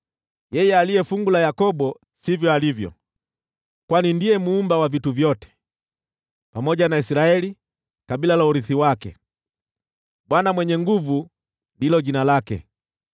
Yeye aliye Fungu la Yakobo sivyo alivyo, kwani ndiye Muumba wa vitu vyote, pamoja na Israeli, kabila la urithi wake: Bwana Mwenye Nguvu Zote ndilo jina lake.